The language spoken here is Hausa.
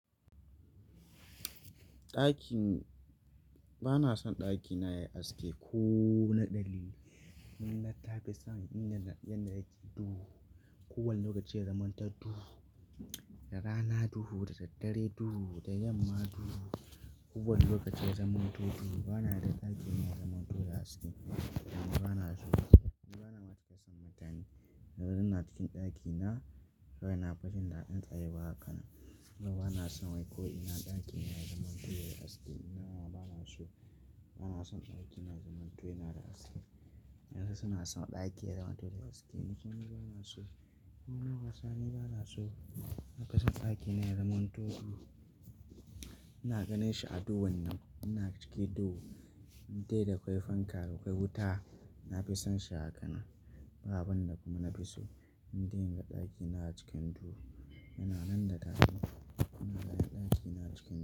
Ɗakin, bana son ɗakina yayi haske ko naɗali. Mun na tafi son inda yana yake duhu. Ko wani lokaci ya zamanta duhu, da rana duhu, da daddare duhu, da yamma duhu. Ko wani lokaci ya zamanto duhu bana da ɗakina ya zamanto da haske. Ni bana so, ni bana matukar son mutane. Na zau na cikin ɗakina, rana fadin da ɗin tsaya ba haka. Ni bana son wai ko ina ɗakina ya zamanto yayi haske. Ni nawa bana so, bana son ɗakina ya zamanto yana da haske. Yanzu suna son ɗaki ya zamanto da haske. Ni kuma bana so. Ni lokaci, ni bana so na fi son ɗakina ya zamanto duhu. Ina ganin shi a duhun nan, ina cikin duhu. Indai da kwai fanka, da kwai wuta. Na fi son shi a hakanan. Ba abin da kuma na fi so indai inga ɗakina a cikin duhu. Yana nan da tashi. Yana nan ɗakina a cikin duhu.